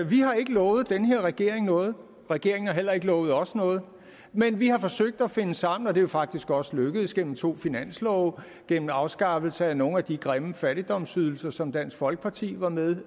vi har ikke lovet den her regering noget regeringen har heller ikke lovet os noget men vi har forsøgt at finde sammen og det er jo faktisk også lykkedes gennem to finanslove og gennem afskaffelse af nogle af de grimme fattigdomsydelser som dansk folkeparti var med